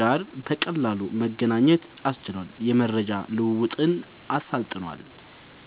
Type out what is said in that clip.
ጋር በቀላሉ መገናኘት አስችሏል፣ የመረጃ ልዉዉጥን አሳልጧል